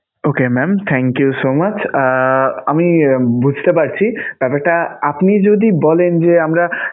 Okay mam! thank you so much ah আমি বুঝতে পারছি, তবে তা আপনি যদি বলেন যে আমরা.